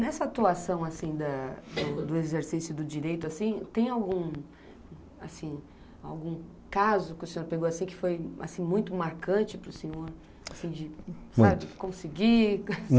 Nessa atuação assim da, do exercício do direito, assim, tem algum, assim, algum caso que o senhor pegou que foi muito marcante para o senhor conseguir?